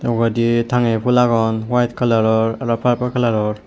ugurendi tangeye pul agon white colour ror aro purple colour ror.